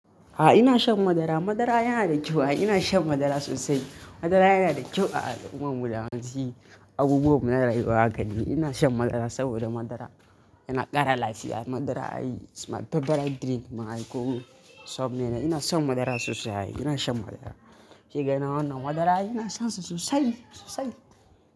A'a ina shan madara. Madara yana da kyau. A'a ina shan madara sosai. Madara yana da kyau a al'ummar mu da hamsi abubuwan da na rayuwa a gare ni. Ina shan madara saboda madara yana ƙara lafiya. Madara ai is my favorite drink ma ai ko sabone. Ina son madara sosai. Ina shan madara. Shiga nan wannan madara yana san sosai sosai.